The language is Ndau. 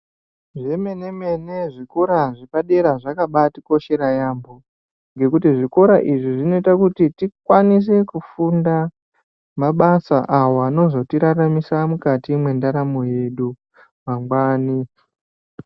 Zvemenemene zvikora zvepadera zvakaba atikoshera yaamho, ngekuti zvikora izvi zvinoita kuti tikwanise kufunda mabasa awo anozotiraramisa mukati mwendaramo yedu mangwani.